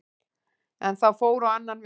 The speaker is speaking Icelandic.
En það fór á annan veg.